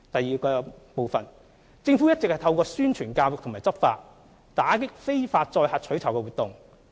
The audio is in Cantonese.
二政府一直透過宣傳教育和執法，打擊非法載客取酬活動。